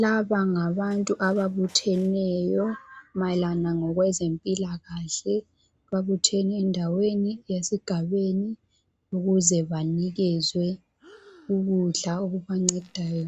Laba ngabantu ababutheneyo mayelana ngokwezempilakahle babuthene endaweni esigabeni ukuze banikezwe ukudla okubancedayo